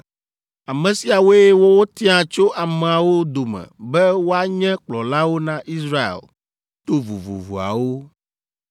Ame siawoe wotia tso ameawo dome be woanye kplɔlawo na Israel to vovovoawo.